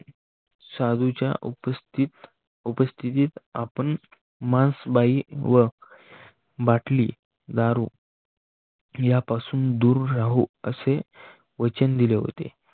साधूच्या उपस्थित उपस्थितीत आपण मांस, बाई व बाटली दारू यापासून दूर राहू असे वचन दिले होते.